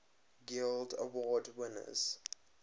guild award winners